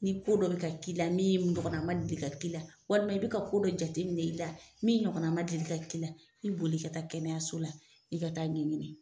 Ni ko dɔ bi ka k'i la min ɲɔgɔnna ma deli ka k'i la walima i be ka ko dɔ jateminɛ i la min ɲɔgɔnna ma deli ka k'i la i boli ka taa kɛnɛyaso la i ka t'a ɲɛɲini